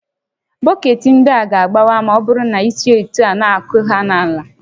Bọketị ndị a ga-agbawa ma ọ bụrụ na isi etu a na-akụ ha n'ala